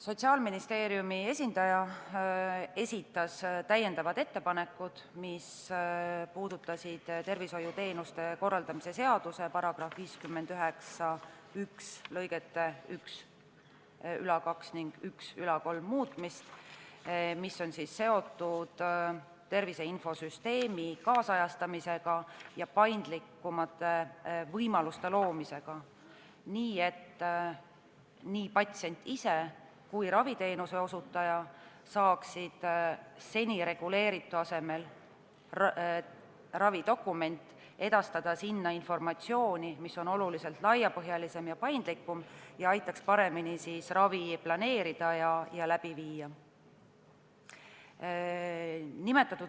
Sotsiaalministeeriumi esindaja esitas lisaettepanekud, mis puudutasid tervishoiuteenuste korraldamise seaduse § 591 lõigete 12 ning 13 muutmist, mis on seotud tervise infosüsteemi nüüdisajastamisega ja paindlikumate võimaluste loomisega, et nii patsient ise kui ka raviteenuse osutaja saaksid seni reguleeritud korra asemel ravidokumendi edastada infosüsteemi sellisel kombel, mis on oluliselt laiapõhjalisem ja paindlikum ning aitaks ravi paremini planeerida ja läbi viia.